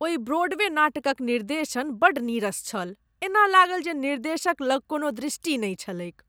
ओहि ब्रॉडवे नाटकक निर्देशन बड्ड नीरस छल। एना लागल जे निर्देशक लग कोनो दृष्टि नहि छलैक।